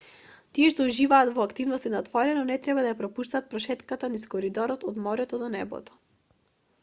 тие што уживаат во активности на отворено не треба да ја пропуштат прошетката низ коридорот од морето до небото